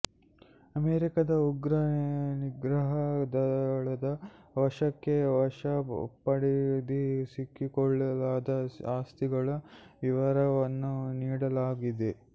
ಅಮೆರಿಕದ ಉಗ್ರ ನಿಗ್ರಹ ದಳದ ವಶಕ್ಕೆ ವಶಪಡಿಸಿಕೊಳ್ಳಲಾದ ಆಸ್ತಿಗಳ ವಿವರವನ್ನು ನೀಡಲಾಗಿದೆ